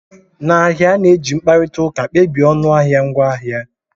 N'ahịa, a na-eji mkparịta ụka kpebie ọnụahịa ngwaahịa